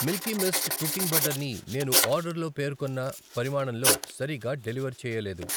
Milky Mist cooking butter ని నేను ఆర్డర్లో పేర్కొన్న పరిమాణంలో సరిగ్గా డెలివర్ చేయలేదు.